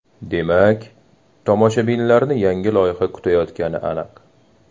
Demak, tomoshabinlarni yangi loyiha kutayotgani aniq.